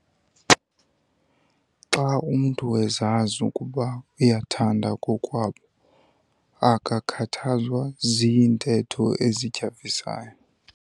Xa umntu ezazi ukuba uyathandwa kokwabo akakhathazwa ziintetho ezityhafisayo.